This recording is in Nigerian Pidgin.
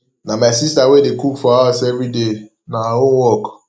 na my sista wey dey cook for house everyday na her own work